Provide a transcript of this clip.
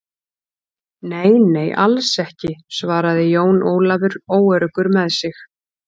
Nei, nei, alls ekki, svaraði Jón Ólafur óöruggur með sig.